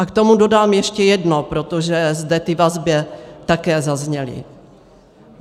A k tomu dodám ještě jedno, protože zde ty vazby také zazněly.